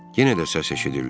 Yenə də səs eşidildi.